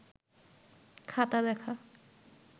খাতা দেখা